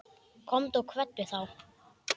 Komdu og kveddu þá.